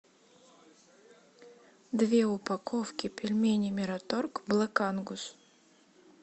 две упаковки пельменей мираторг блэк ангус